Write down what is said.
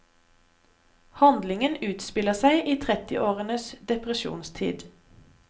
Handlingen utspiller seg i trettiårenes depresjonstid.